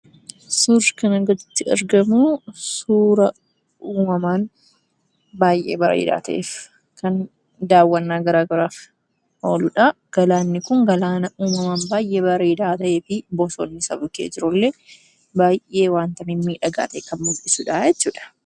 Suuraa kana gadiitti argamuu suuraa uumamaan baay'ee bareeda ta'eef kan dawwannaa gara garaaf oluudha. Galaanni kun uumamaan baay'ee bareed ta'fi Bossooni isaa bukkee jiruu illee baay'ee waanta mimmiidhagaa ta'e kan mul'isuudha jechuudha.